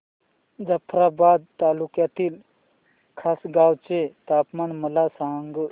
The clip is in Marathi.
जाफ्राबाद तालुक्यातील खासगांव चे तापमान मला सांग